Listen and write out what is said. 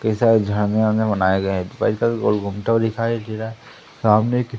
कैसा ये झांगा वांगा बनाए गए दिखाई दे रहा है सामने एक--